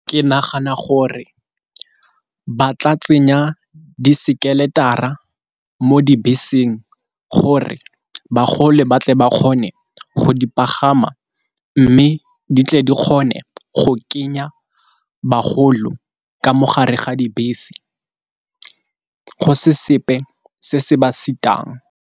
Ke nagana gore ba tla tsenya disekeletara mo dibeseng gore ba tle ba kgone go di pagama, mme di tle di kgone go kenya bagolo ka mogare ga dibese go se sepe se se ba sitang.